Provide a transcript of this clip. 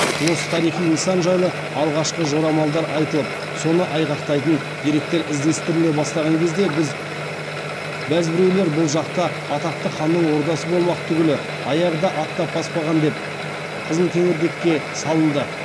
осы тарихи нысан жайлы алғашқы жорамалдар айтылып соны айғақтайтын деректер іздестіріле бастаған кезде бәз біреулер бұл жақта атақты ханның ордасы болмақ түгілі аяғы да аттап баспаған деп қызылкеңірдекке салынды